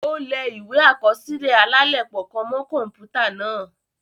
O lẹ̀ ìwé akọsilẹ alalepo kàn mọ kọnputa náà